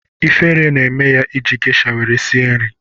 Ifere na-eme ya iji gesha were sie nri